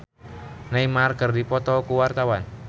Dewi Lestari jeung Neymar keur dipoto ku wartawan